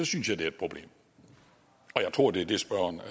synes jeg det er et problem og jeg tror det er det spørgeren